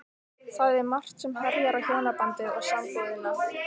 Það er margt sem herjar á hjónabandið og sambúðina.